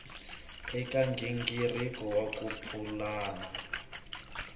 eka nghingiriko wa ku pulana